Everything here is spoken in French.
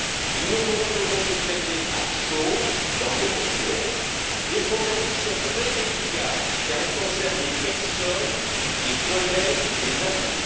Il nous faut donc aujourd'hui traiter à chaud, dans l'émotion, des problèmes qui sont très délicats, car ils concernent des personnes, des collègues, des amis.